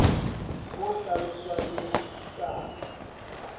ho hlaloswang le ho buisanwa